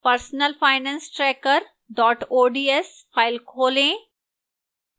personalfinancetracker ods file खोलें